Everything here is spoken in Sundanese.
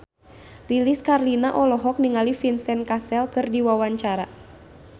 Lilis Karlina olohok ningali Vincent Cassel keur diwawancara